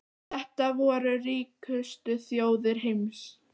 Þetta voru ríkustu þjóðir heims.